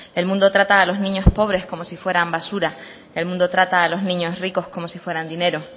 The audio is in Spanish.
el mundo trata a los niños pobres como si fueran basura el mundo trata a los niños ricos como si fueran dinero